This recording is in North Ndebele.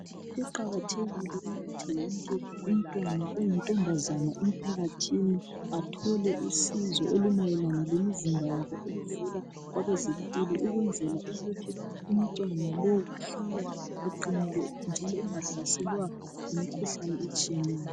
Kuqakathekile ukuthi wonke umntwana oyintombazana emphakathini athole usizo olumayelana lemizimba yabo oluvela kwabezempilo ukwenzela ukuthi umntwana lowu ahlale eqinile njalo engahlaselwa yimikhuhlane etshiyeneyo.